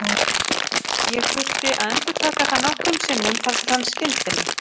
Hún hefur hlustað yfirveguð.